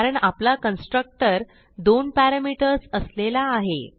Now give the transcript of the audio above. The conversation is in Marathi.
कारण आपला कन्स्ट्रक्टर दोन पॅरामीटर्स असलेला आहे